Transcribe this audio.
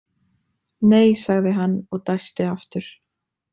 Nei, sagði hann og dæsti aftur.